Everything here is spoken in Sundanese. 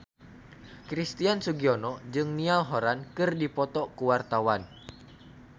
Christian Sugiono jeung Niall Horran keur dipoto ku wartawan